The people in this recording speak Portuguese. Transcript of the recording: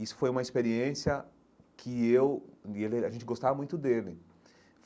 Isso foi uma experiência que eu e ele... A gente gostava muito dele.